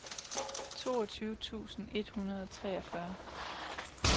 toogtyve tusind et hundrede og treogfyrre